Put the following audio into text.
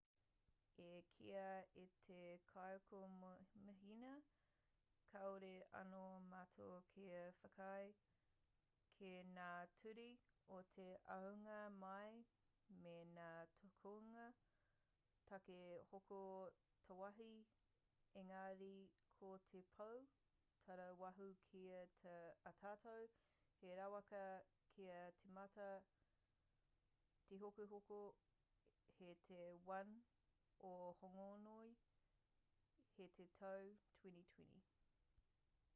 i kīia e te kaikomihana kāore anō mātou kia whakaae ki ngā ture o te ahunga mai me ngā tukunga tāke hoko tāwāhi engari ko te pou tarāwaho kei a tātou he rawaka kia tīmata tehokohoko hei te 1 o hōngongoi hei te tau 2020